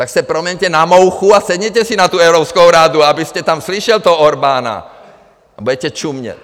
Tak se proměňte na mouchu a sedněte si na tu Evropskou radu, abyste tam slyšel toho Orbána, a budete čumět!